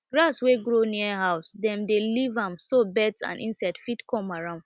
grass wey grow near house dem dey leave am so birds and insects fit come around